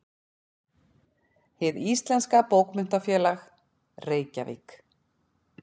Hið íslenska bókmenntafélag: Reykjavík.